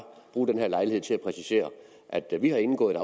bruge den her lejlighed til at præcisere at at vi har indgået